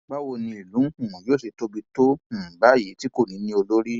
báwo ni ìlú um yóò ṣe tóbi tó um báyìí tí kò ní i lólórí